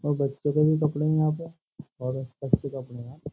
और बच्चों के भी कपड़े हैं यहां पे और अच्चे कपड़े हैं।